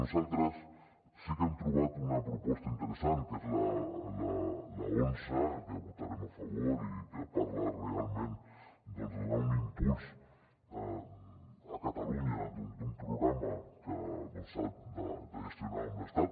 nosaltres sí que hem trobat una proposta interessant que és l’onze que hi votarem a favor i que parla realment doncs de donar un impuls a catalunya d’un programa que s’ha de gestionar amb l’estat